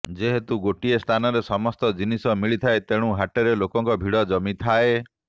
ଯେହେତୁ ଗୋଟିଏ ସ୍ଥାନରେ ସମସ୍ତ ଜିନିଷ ମିଳିଥାଏ ତେଣୁ ହାଟରେ ଲୋକଙ୍କ ଭିଡ଼ ଜମିଥାଏ